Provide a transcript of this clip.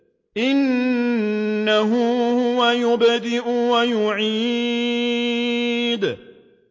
إِنَّهُ هُوَ يُبْدِئُ وَيُعِيدُ